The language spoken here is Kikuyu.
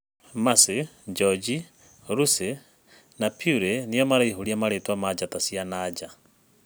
Macĩ, Joji, Rũci, na Purĩ nĩo maraihũria marĩtwa ma njata cia nanja.